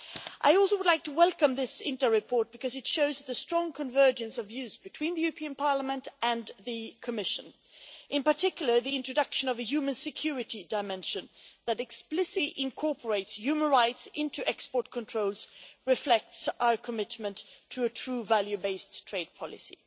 I would also like to welcome this interim report because it shows the strong convergence of views between the European Parliament and the Commission. In particular, the introduction of a human security dimension that explicitly incorporate human rights into export controls reflects our commitment to a true value based trade policy.